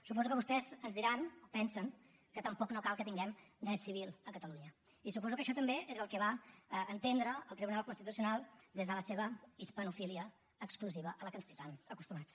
suposo que vostès ens diran o pensen que tampoc no cal que tinguem dret civil a catalunya i suposo que això també és el que va entendre el tribunal constitucional des de la seva hispanofília exclusiva a què ens té tan acostumats